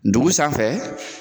Ndugu sanfɛ